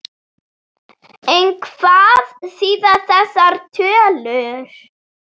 En hvað þýða þessar tölur?